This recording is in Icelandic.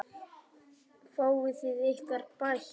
Fáið þið ykkar bætt.